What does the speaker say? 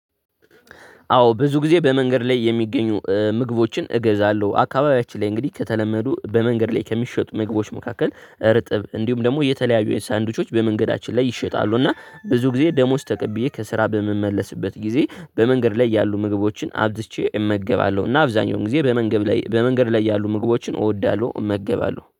አዎ ብዙ ጊዜ በመንገድ ላይ የሚገኙ ምግቦችን እገዛለሁ አካባቢያችን ላይ እንግዲህ ከተለመዱ በመንገድ ላይ ከሚሸጡ ምግቦች መካከል እርጥብ እንዲሁም ደግሞ የተለያዩ የሳንድዊቾች በመንገዳችን ላይ ይሸጣሉ እና ብዙ ጊዜ ደሞዝ ተቀብዬ ከስራ በምመለስበት ጊዜ በመንገድ ላይ ያሉ ምግቦችን አብዝቼ እመገባለሁ። እና አብዛኛውን ጊዜ በመንገድ ላይ በመንገድ ላይ ያሉ ምግቦችን እወዳለሁ እመገባለሁ